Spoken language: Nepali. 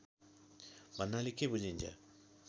भन्नाले के बुझिन्छ